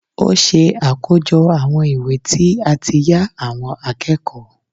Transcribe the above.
ó ṣe àkójọ àwọn ìwé tí a ti yá àwọn akẹ́kọ̀ọ́